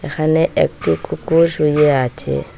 এখানে একটি কুকুর শুয়ে আছে।